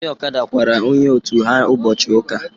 Ndị ọkada kwara onye otu ha ụbọchị ụka.